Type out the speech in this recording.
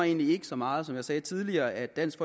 egentlig ikke så meget som jeg sagde tidligere at dansk